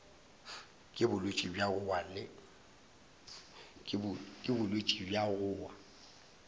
ke bolwetši bja go wa